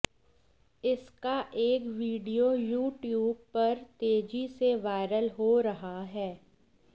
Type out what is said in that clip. इसका एक video YouTube पर तेजी से वायरल हो रहा है